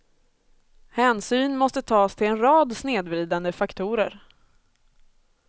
Hänsyn måste tas till en rad snedvridande faktorer.